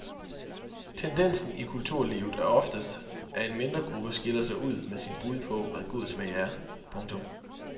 Tendensen i kulturlivet er oftest at en mindre gruppe skiller sig ud med sit bud på hvad god smag er. punktum